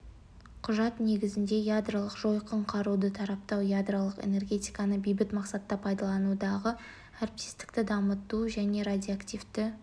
құжат негізінде ядролық жойқын қаруды таратпау ядролық энергетиканы бейбіт мақсатта пайдаланудағы әріптестікті дамыту және радиоактивті